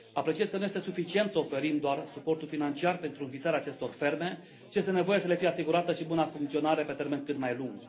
Apreciez că nu este suficient să oferim doar suportul financiar pentru înființarea acestor ferme, ci este nevoie să le fie asigurată și buna funcționare pe termen cât mai lung.